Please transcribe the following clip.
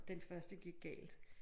Den første gik galt